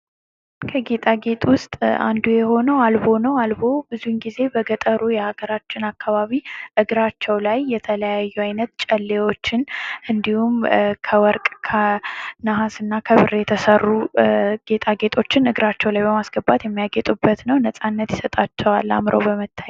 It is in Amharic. ከጌጣ ጌጥ ውስጥ አንዱ የሆነው አልቦ ነው። አልቦ ብዙውን ጊዜ በገጠሩ የሀገራችን አካባቢ እግራቸው ላይ የተለያዩ አይነት ጨሌዎችን እንዲሁም ከወርቅ ከነሐስ እና ከብር የተሰሩ ጌጣጌጦችን እግራቸው ላይ በማስገባት የሚያጌጡበት ነው። ነፃነት ይሰጣቸዋል አምረው በመታየት።